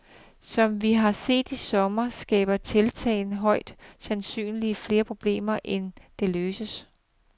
Som vi har set i sommer, skaber tiltaget højst sandsynlig flere problemer, end det løser.